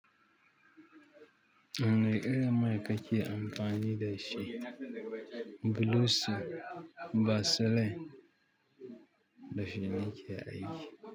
Wane irin mai kake amfani da shi? Blueseal, basilen da shi nake aiki.